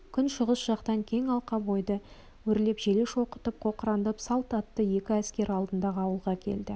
күншығыс жақтан кең алқап ойды өрлеп желе шоқытып қоқыраңдап салт атты екі әскер алдыңғы ауылға келді